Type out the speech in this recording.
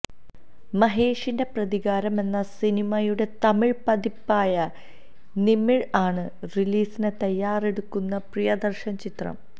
മഹേഷിന്റെ പ്രതികാരം എന്ന സിനിമയുടെ തമിഴ് പതിപ്പായ നിമിര് ആണ് റിലീസിന് തയ്യാറെടുക്കുന്ന പ്രിയദര്ശന് ചിത്രം